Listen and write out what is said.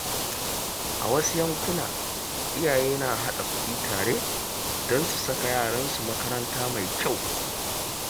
A wasu yankuna, iyaye na haɗa kuɗi tare don su saka yaransu makaranta mai kyau.